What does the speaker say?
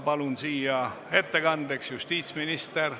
Palun ettekandeks kõnepulti justiitsministri.